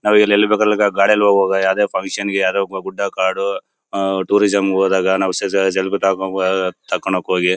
ನಾವು ಎಲ್ಲೆಲ್ಲಿ ಬೇಕಲ್ಲಿ ಗಾಡಿಯಲ್ಲಿ ಹೋಗುವಾಗ ಯಾವುದೇ ಫಂಕ್ಷನ್ ಗೆ ಯಾವುದೇ ಒಬ್ಬ ಗುಡ್ಡ ಕಾಡು ಆ ಟೂರಿಸಂ ಹೋದಾಗ ನಾವು ತಕೋಣಕ್ಕೆ ಹೋಗಿ--